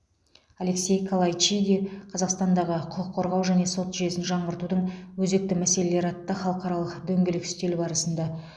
алексей калайчиди қазақстандағы құқық қорғау және сот жүйесін жаңғыртудың өзекті мәселелері атты халықаралық дөңгелек үстел барысында